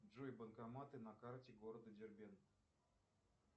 джой банкоматы на карте города дербент